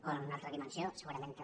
o en una altra dimensió segurament també